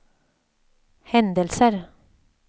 händelser